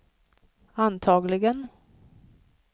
antagligen